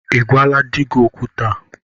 Ị gwala di gị okwu taa?